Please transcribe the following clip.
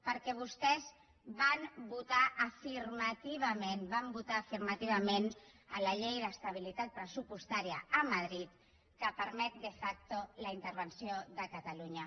perquè vostès van votar afirmativament van votar la afirmativament la llei d’estabilitat pressupostària a madrid que permet de factolunya